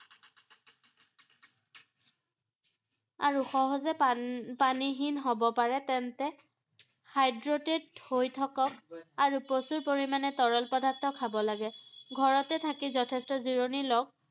আৰু সহজে পানী পানীহীন হ’ব পাৰে তেন্তে hydrated হৈ থাকক আৰু প্ৰচুৰ পৰিমাণে তৰল পদাৰ্থ খাব লাগে, ঘৰতে থাকি যথেষ্ট জিৰণি লওঁক ৷